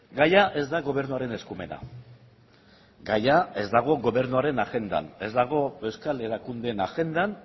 gaia ez da gobernuaren eskumena gaia ez dago gobernuaren agendan ez dago euskal erakundeen agendan